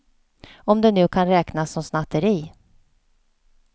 Om det nu kan räknas som snatteri.